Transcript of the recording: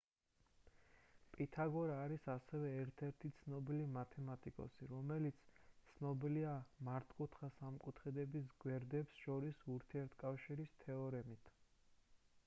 პითაგორა არის ასევე ერთ-ერთი ცნობილი მათემატიკოსი რომელიც ცნობილია მართკუთხა სამკუთხედების გვერდებს შორის ურთიერთკავშირის თეორემით